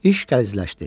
İş qəlizləşdi.